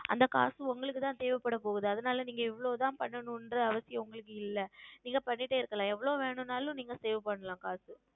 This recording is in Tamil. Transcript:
அந்த காசு உங்களுக்கு தான் தேவை படப்போகிறது அதுனால் நீங்கள் எவ்வளவு தான் செய்ய வேண்டும் என்ற உங்களுக்கு அவசியம் இல்லை நீங்கள் செய்து கொண்டே இருக்கலாம் எவ்வளவு வேண்டுமானாலும் நீங்கள் Save செய்யலாம் காசு